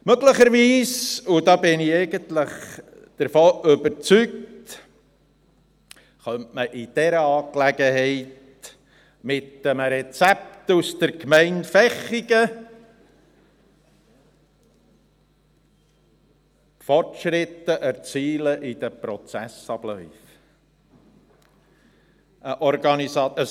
Möglicherweise, und davon bin ich eigentlich überzeugt, könnte man in dieser Angelegenheit mit einem Rezept der Gemeinde Vechigen Fortschritte in den Prozessabläufen erzielen.